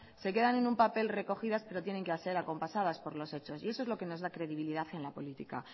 se quedan en un papel recogidas pero tienen que hacer acompasadas por lo hechos y eso es lo que nos da credibilidad en la política